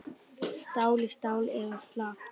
Stál í stál eða slappt?